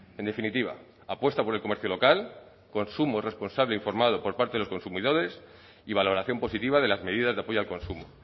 en definitiva apuesta por el comercio local consumo responsable e informado por parte de los consumidores y valoración positiva de las medidas de apoyo al consumo